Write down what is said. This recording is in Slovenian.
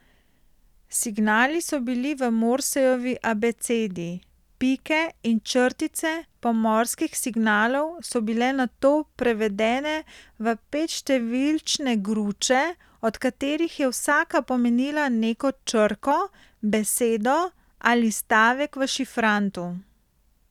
Signali so bili v morsejevi abecedi, pike in črtice pomorskih signalov so bile nato prevedene v petštevilčne gruče, od katerih je vsaka pomenila neko črko, besedo ali stavek v šifrantu.